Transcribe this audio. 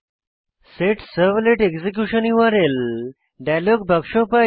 set servlet execution উরি dialogue বাক্স পাই